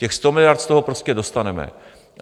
Těch 100 miliard z toho prostě dostaneme.